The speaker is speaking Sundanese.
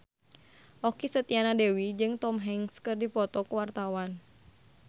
Okky Setiana Dewi jeung Tom Hanks keur dipoto ku wartawan